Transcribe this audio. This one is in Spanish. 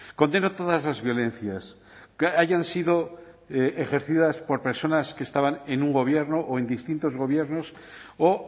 condeno todas las violencias hayan sido ejercidas por personas que estaban en un gobierno o en distintos gobiernos o